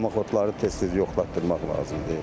Damaxtları tez-tez yoxlatdırmaq lazımdır.